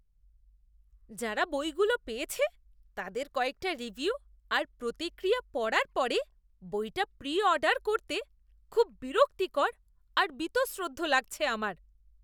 যারা বইগুলো পেয়েছে তাদের কয়েকটা রিভিউ আর প্রতিক্রিয়া পড়ার পরে বইটা প্রি অর্ডার করতে খুব বিরক্তিকর আর বীতশ্রদ্ধ লাগছে আমার।